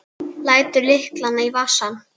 Lætur lyklana í vasann.